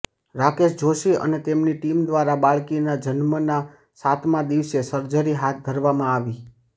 રાકેશ જોષી અને તેમની ટીમ દ્વારા બાળકીના જન્મના સાતમા દિવસે સર્જરી હાથ ધરવામાં આવી